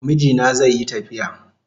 Mijina zaiyi tafiya